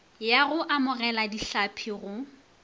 ya go amogela dihlapi go